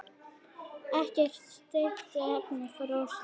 Ekkert steypt, efnið frosið.